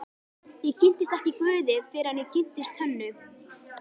Ég kynntist ekki guði fyrr en ég kynntist Hönnu.